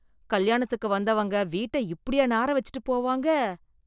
கல்யாணத்துக்கு வந்தவங்க வீட்ட இப்படியா நார வெச்சுட்டு போவாங்க?